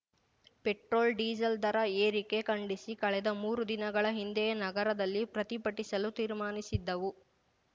petrol diesel ದರ ಏರಿಕೆ ಖಂಡಿಸಿ ಕಳೆದ ಮೂರು ದಿನಗಳ ಹಿಂದೆಯೇ ನಗರದಲ್ಲಿ ಪ್ರತಿಭಟಿಸಲು ತೀರ್ಮಾನಿಸಿದ್ದವು